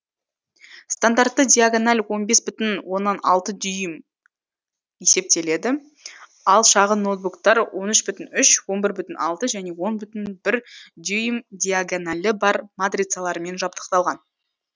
стандартты диагональ он бес бүтіноннан алты дюйм есептеледі ал шағын ноутбуктар он үш бүтін үш он бір бүтін алты және он бүтін бір дюйм диагоналі бар матрицалармен жабдықталған